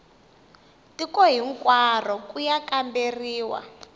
tiko hinkwaro ku ya kamberiwa